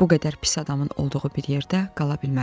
bu qədər pis adamın olduğu bir yerdə qala bilmərəm.